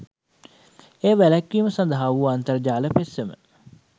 එය වැලැක්වීම සඳහා වූ අන්තර්ජාල පෙත්සම